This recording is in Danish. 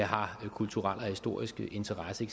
har kulturel og historisk interesse